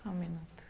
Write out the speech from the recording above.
Só um minuto.